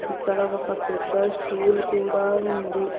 ఇక్కడ ఒక పెద్ద స్టూల్ కూడా ఉంది.